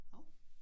Hov